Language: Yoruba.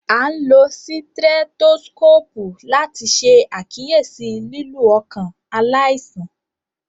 A n lo sitrẹtoskopu lati ṣe akiyesi lilu ọkan alaisan